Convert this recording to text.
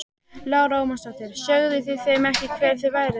Lára Ómarsdóttir: Sögðuð þið þeim ekki hver þið voruð?